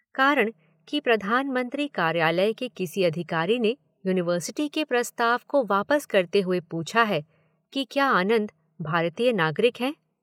कारण कि प्रधानमंत्री कार्यालय के किसी अधिकारी ने यूनिवर्सिटी के प्रस्ताव को वापस करते हुए पूछा है कि क्या आनंद भारतीय नागरिक हैं?